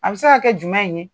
A bɛ se ka kɛ jumɛn in ye